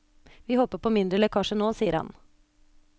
Vi håper på mindre lekkasjer nå, sier han.